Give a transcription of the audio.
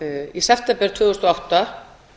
í september tvö þúsund og átta